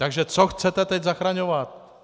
Takže co chcete teď zachraňovat?